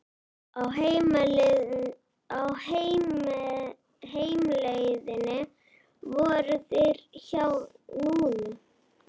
Á heimleiðinni komu þeir við hjá Nínu.